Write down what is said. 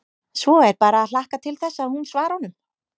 Svo er bara að hlakka til þess að hún svari honum.